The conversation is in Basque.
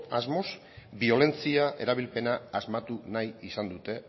asmoz biolentzia erabilpena asmatu nahi izan dute